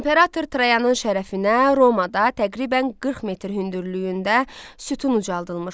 İmperator Trayanın şərəfinə Romada təqribən 40 metr hündürlüyündə sütun ucaldılmışdı.